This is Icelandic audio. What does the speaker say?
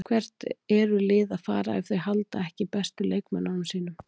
Hvert eru lið að fara ef þau halda ekki bestu leikmönnunum sínum?